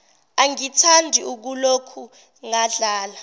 angithandi ukuloku ngadlala